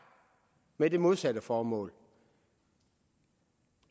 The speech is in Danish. med det modsatte formål